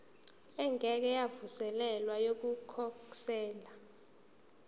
engeke yavuselelwa yokukhosela